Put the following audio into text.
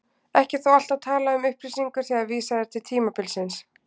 Ekki er þó alltaf talað um upplýsingu þegar vísað er til tímabilsins.